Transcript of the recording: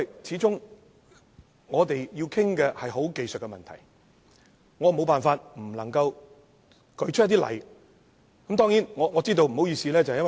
始終，我們要探討的是技術性問題，我沒辦法不舉出例子加以說明。